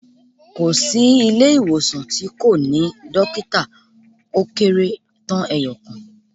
Kò sí ilé ìwòsàn tí kò ní Dókítà ó kérétán eeyòkan